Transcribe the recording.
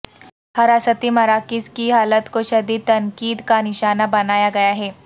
حراستی مراکز کی حالت کو شدید تنقید کا نشانہ بنایا گیا ہے